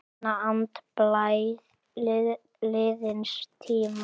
Finna andblæ liðins tíma.